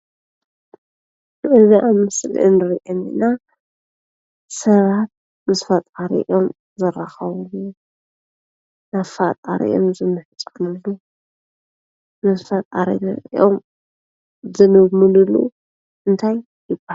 እዚ ኣብ ምስሊ እንሪኦ ዘለና ሰባት ምስ ፈጣሪኦም ዝራኸብሉ ናብ ፈጣሪኦም ዝምሕፀንሉ ናብ ፈጣሪኦም ዝልምንሉ እንታይ ይባሃል?